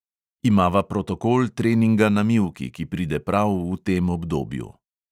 Imava protokol treninga na mivki, ki pride prav v tem obdobju.